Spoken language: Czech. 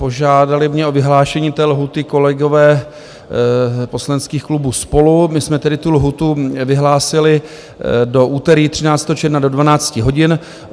Požádali mě o vyhlášení té lhůty kolegové poslaneckých klubů SPOLU, my jsme tedy tu lhůtu vyhlásili do úterý 13. června do 12 hodin.